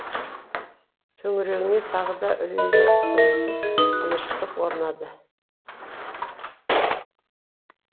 төңірегіне тағы да үрейлі тылсым тыныштық орнады